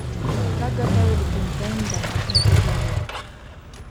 как готовить глинтвейн в домашних условиях